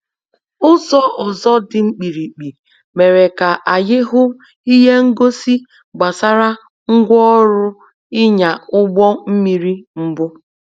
Ụzọ ọzọ dị mkpirikpi mere ka anyị hụ ihe ngosi gbasara ngwa orụ ịnya ụgbọ mmiri mbụ